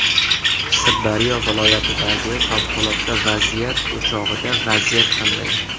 Sirdaryo viloyatidagi favqulodda vaziyat o‘chog‘ida vaziyat qanday?